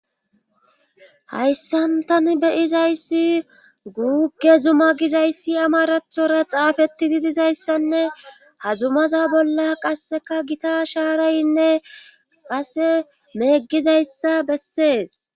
hayssantan beyizayssi guuge zuma gizayssi amarathora xaafetidi dizayssanne hazumaza bolla qasseka gita shaaraynne passe meeggizayssa bessees.